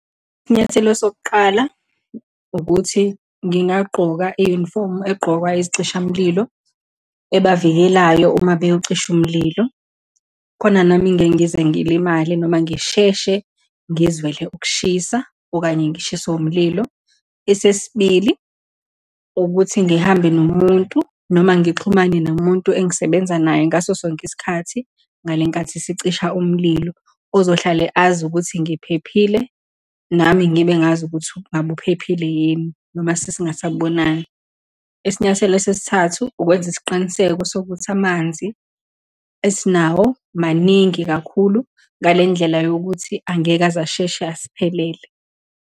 Isinyathelo sokuqala ukuthi, ngingagqoka iyunifomu eqokwa isicishamlilo ebavikelayo uma beyocisha umlilo, khona nami ngeke ngize ngilimale, noma ngisheshe ngizwele ukushisa, okanye ngishiswe umlilo. Esesibili, ukuthi ngihambe nomuntu, noma ngixhumane nomuntu engisebenza naye ngaso sonke isikhathi ngalenkathi sicisha umlilo, ozohlale azi ukuthi ngiphephile, nami ngibe ngazi ukuthi ngabe uphephile yini, noma sesingasabonani. Isinyathelo sesithathu, ukwenza isiqiniseko sokuthi amanzi esinawo maningi kakhulu, ngalendlela yokuthi angeke aze asheshe asiphelele.